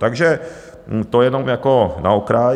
Takže to jenom jako na okraj.